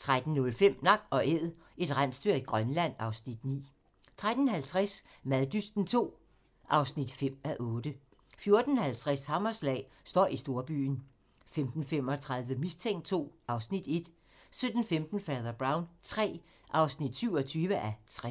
13:05: Nak & Æd - et rensdyr i Grønland (Afs. 9) 13:50: Maddysten II (5:8) 14:50: Hammerslag - støj i storbyen 15:35: Mistænkt II (Afs. 1) 17:15: Fader Brown III (27:60)